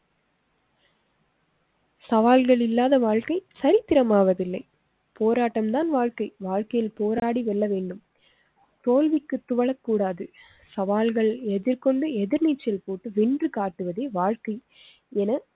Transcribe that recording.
சவால்கள் இல்லாத வாழ்க்கை சரித்திரம் ஆவதில்லை. போராட்டம் தான் வாழ்க்கை. வாழ்க்கையில் போராடி வெல்ல வேண்டும் தோல்விக்கு துவளக்கூடாது. சவால்களை எதிர்கொண்டு எதிர்நீச்சல் போட்டு வென்று காட்டுவதே வாழ்க்கை என